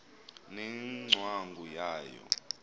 ne ngcwangu yayo